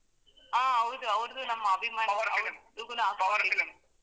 ಹಾ ಹೌದು ಅವ್ರುದು ನಮ್ ಅಭಿಮಾನಿ.